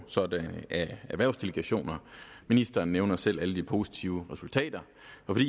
sådanne erhvervsdelegationer ministeren nævner selv alle de positive resultater